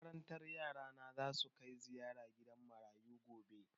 Makarantar yara na za su kai ziyara gidan marayu gobe.